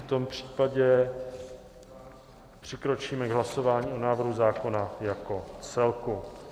V tom případě přikročíme k hlasování o návrhu zákona jako celku.